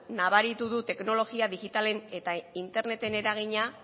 nabaritu du teknologia digitalen eta interneten eragina